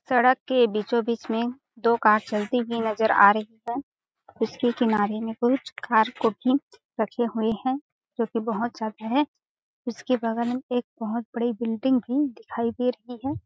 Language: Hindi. सडक के बीचो-बीच में दो कार चलती हुई नज़र आ रही हैं उस के किनारे में कुछ कार को भी रखे हुए हैं जो की बहुत साल पहले उसके बगल में एक बहुत बड़ी बिल्डिंग भी दिखाई दे रही है।